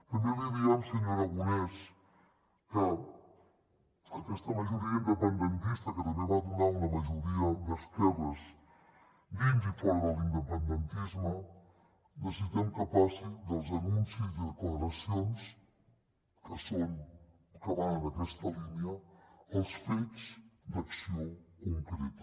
també li diem senyor aragonès que aquesta majoria independentista que també va donar una majoria d’esquerres dins i fora de l’independentisme necessitem que passi dels anuncis i declaracions que van en aquesta línia als fets d’acció concreta